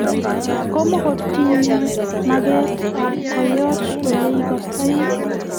komkotinye maget ab koyoch ole ikastoi